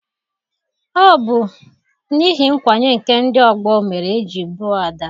Ọ bụ n'ihi nkwanye nke ndị ọgbọ mere eji gbuo Ada.